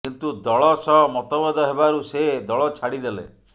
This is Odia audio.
କିନ୍ତୁ ଦଳ ସହ ମତଭେଦ ହେବାରୁ ସେ ଦଳ ଛାଡ଼ିଦେଲେ